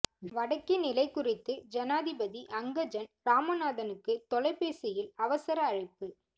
வடக்கின் நிலைகுறித்து ஜனாதிபதி அங்கஜன் ராமநாதனுக்கு தொலைபேசியில் அவசர அழைப்பு